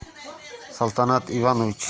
салтанат иванович